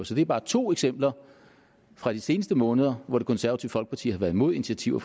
så det er bare to eksempler fra de seneste måneder hvor det konservative folkeparti har været imod initiativer